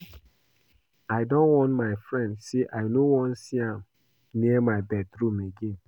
I don warn my friend say I no wan see am near my bedroom again